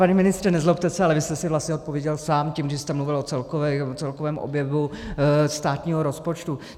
Pane ministře, nezlobte se, ale vy jste si vlastně odpověděl sám tím, že jste mluvil o celkovém objemu státního rozpočtu.